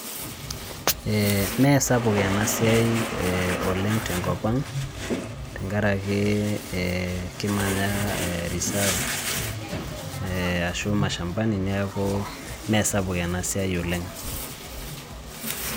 Ee mee sapuk ena siai oleng' tenkop ang' tenkaraki kimnaya ee reserve ee ashu mashambani[cs neeku mee sapuk ena siai oleng'.